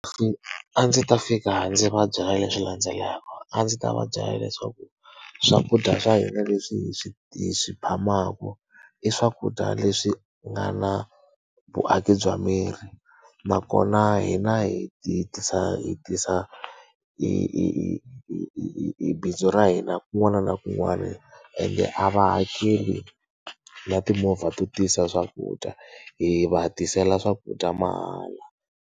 A ndzi ta fika ndzi va byela leswi landzelaka. A ndzi ta va byela leswaku swakudya swa hina leswi hi swi hi swi phamaka, i swakudya leswi nga na vuaki bya miri. Nakona hina hi hi tisa hi tisa i i i i i bindzu ra hina kun'wana na kun'wana ende a va hakeli na timovha to tisa swakudya, hi va tisela swakudya mahala.